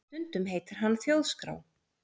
Stundum heitir hann Þjóðskrá